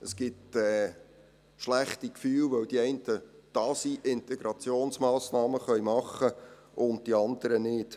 Es gibt schlechte Gefühle, weil die einen da sind, Integrationsmassnahmen machen können, und die anderen nicht.